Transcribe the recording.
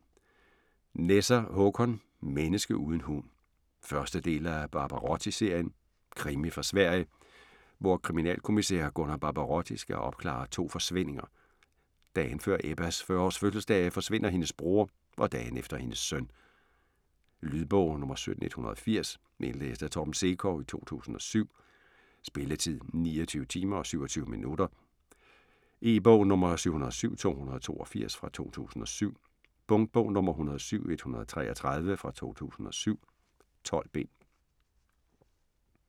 Nesser, Håkan: Menneske uden hund 1. del af Barbarotti-serien. Krimi fra Sverige, hvor kriminalkommissær Gunnar Barbarotti skal opklare to forsvindinger: Dagen før Ebbas 40 års fødselsdag forsvinder hendes bror og dagen efter hendes søn. Lydbog 17180 Indlæst af Torben Sekov, 2007. Spilletid: 29 timer, 27 minutter. E-bog 707282 2007. Punktbog 107133 2007. 12 bind.